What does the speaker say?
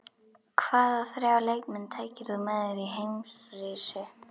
Hvaða þrjá leikmenn tækir þú með þér í heimsreisu?